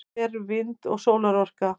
hvað eru vind og sólarorka